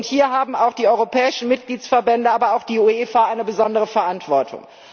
Hier haben auch die europäischen Mitgliedsverbände, aber auch die UEFA, eine besondere Verantwortung.